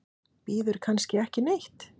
Bíður kannski ekki neitt?